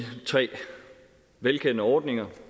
tre velkendte ordninger